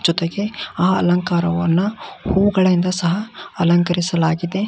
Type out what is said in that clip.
ಜೊತೆಗೆ ಆ ಅಲಂಕಾರವನ್ನ ಹೂಗಳಿಂದ ಸಹ ಅಲಂಕರಿಸಲಾಗಿದೆ